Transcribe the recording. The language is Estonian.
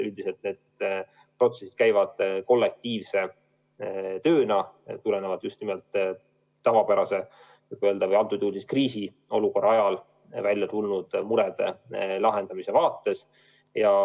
Üldiselt käivad need protsessid kollektiivse tööna, mille käigus lahendatakse tavapärases või kriisiolukorras ilmnenud muresid.